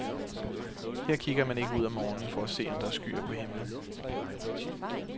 Her kigger man ikke ud om morgenen for at se om der er skyer på himlen.